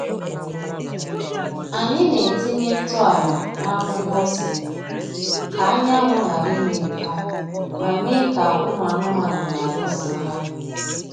Anyị na-etinye ntụ ala n’akwụkwọ ose ka anyanwụ ghara imebi ha ma mee ka ụmụ anụmanụ ghara iso ha.